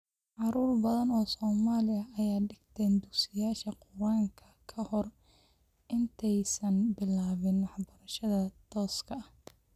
Carruur badan oo Soomaali ah ayaa dhigta dugsiyada Qur�aanka ka hor intaysan bilaabin waxbarashada tooska ah.